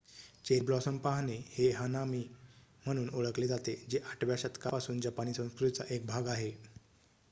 cherry blossom पाहणे हे हनामी म्हणून ओळखले जाते जे 8 व्या शतकापासून जपानी संस्कृतीचा एक भाग आहे